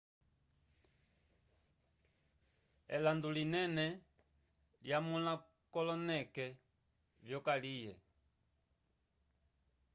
elando linene lyamulakoloneke vyokalye